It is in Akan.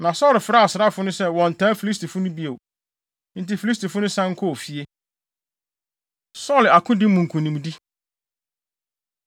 Na Saulo frɛɛ asraafo no sɛ wɔnntaa Filistifo no bio. Enti Filistifo no san kɔɔ fie. Saulo Akodi Mu Nkonimdi